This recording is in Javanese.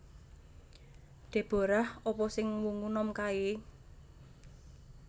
Deborah apa sing wungu nom kae?